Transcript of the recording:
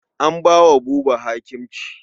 An ba wa Buba hakimci.